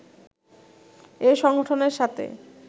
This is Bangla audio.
এই সংগঠনের সাথে